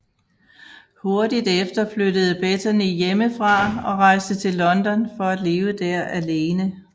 Hurtigt efter flyttede Bettany hjemmefra og rejste til London for at leve der alene